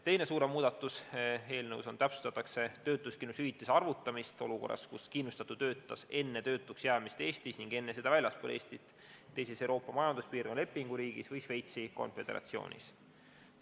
Teine suurem selle eelnõu kohane muudatus on, et täpsustatakse töötuskindlustushüvitise arvutamist olukorras, kus kindlustatu töötas enne töötuks jäämist Eestis ning enne seda väljaspool Eestit, teises Euroopa Majanduspiirkonna lepinguriigis või Šveitsi Konföderatsioonis.